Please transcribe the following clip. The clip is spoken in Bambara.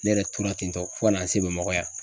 Ne yɛrɛ tora ten tɔ fo ka na n se Bamakɔ yan.